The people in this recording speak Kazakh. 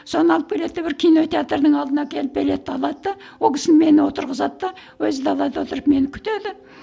соны алып келеді де бір кинотеатрдың алдына әкеліп билетті алады да ол кісі мені отырғызады да өзі далада отырып мені күтеді